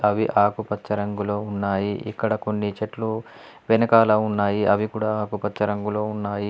అవి ఆకుపచ్చ రంగులో ఉన్నాయి. ఇక్కడ కొన్ని చెట్లు వెనకాల ఉన్నాయి అవి కూడా ఆకుపచ్చ రంగులో ఉన్నాయి.